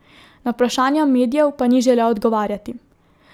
Na vprašanja medijev pa ni želel odgovarjati.